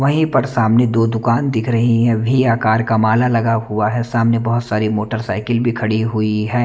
वही पर सामने दो दुकान दिख रही हैं वही आकर एक माला लगा हुआ है सामने बहुत सारी मोटरसाइकिल भी खड़ी हुई हैं।